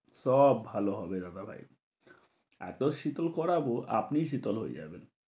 সব ভালো হবে দাদাভাই এত শীতল করাব আপনিই শীতল হয়ে যাবেন।